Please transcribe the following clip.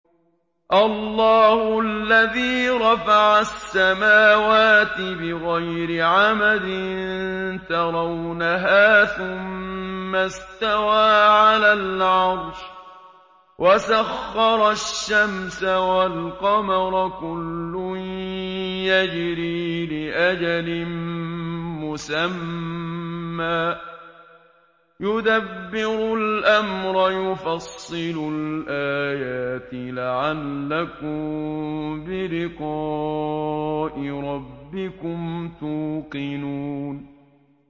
اللَّهُ الَّذِي رَفَعَ السَّمَاوَاتِ بِغَيْرِ عَمَدٍ تَرَوْنَهَا ۖ ثُمَّ اسْتَوَىٰ عَلَى الْعَرْشِ ۖ وَسَخَّرَ الشَّمْسَ وَالْقَمَرَ ۖ كُلٌّ يَجْرِي لِأَجَلٍ مُّسَمًّى ۚ يُدَبِّرُ الْأَمْرَ يُفَصِّلُ الْآيَاتِ لَعَلَّكُم بِلِقَاءِ رَبِّكُمْ تُوقِنُونَ